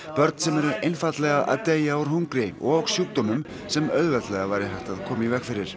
börn sem eru einfaldlega að deyja úr hungri og sjúkdómum sem auðveldlega væri hægt að koma í veg fyrir